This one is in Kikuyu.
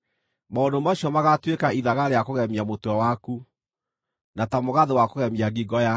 Maũndũ macio magaatuĩka ithaga rĩa kũgemia mũtwe waku, na ta mũgathĩ wa kũgemia ngingo yaku.